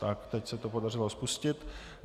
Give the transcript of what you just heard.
Tak, teď se to podařilo spustit.